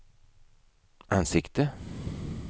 ansikte